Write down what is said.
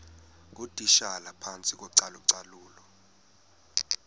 ngootitshala phantsi kocalucalulo